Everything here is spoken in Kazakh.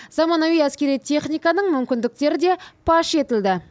заманауи әскери техниканың мүмкіндіктерін де паш етті